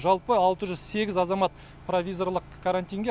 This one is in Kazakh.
жалпы алты жүз сегіз азамат провизорлық карантинге